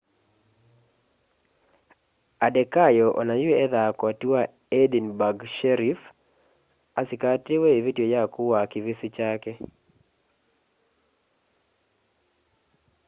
adekoya onayũ ethaa koti wa edinburgh sheriff asĩkatĩwe ĩvĩtyo ya kũũa kĩvĩsĩ kyake